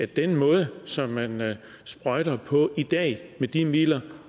den måde som man sprøjter på i dag med de midler